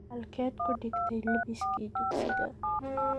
Halkeed ku dhigtay lebiskii dugsiga?